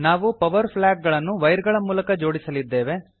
ನಾವು power flag ಗಳನ್ನು wire ಗಳ ಮೂಲಕ ಜೋಡಿಸಲಿದ್ದೇವೆ